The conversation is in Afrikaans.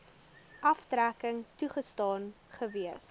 aftrekking toegestaan gewees